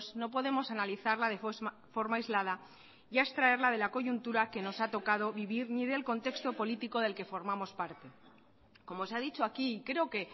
no podemos analizarla de forma aislada y a extraerla de la coyuntura que nos ha tocado vivir ni del contexto político del que formamos parte como se ha dicho aquí creo que